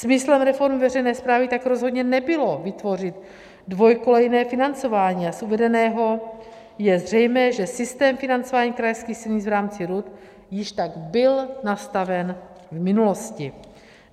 Smyslem reformy veřejné správy tak rozhodně nebylo vytvořit dvojkolejné financování, a z uvedeného je zřejmé, že systém financování krajských silnic v rámci RUD již tak byl nastaven v minulosti.